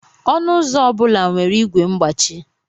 Ọnụ ụzọ obula nwere igwe mgbachi